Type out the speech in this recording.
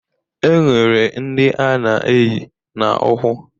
Enwere ndi ana eyi na ukwu